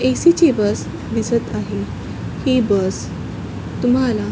ए. C. ची bus दिसत आहे ही बस तुम्हाला--